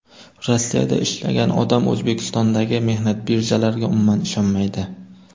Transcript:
Rossiyada ishlagan odam O‘zbekistondagi mehnat birjalariga umuman ishonmaydi.